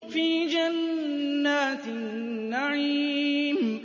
فِي جَنَّاتِ النَّعِيمِ